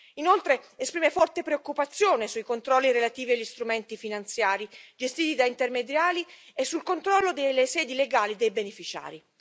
Inoltre, esprime forte preoccupazione sui controlli relativi agli strumenti finanziari gestiti da intermediari e sul controllo delle sedi legali dei beneficiari.